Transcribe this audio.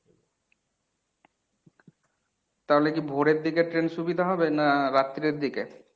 তাহলে কী ভোরের দিকে train সুবিধা হবে না রাত্রের দিকে?